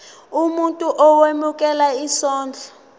umuntu owemukela isondlo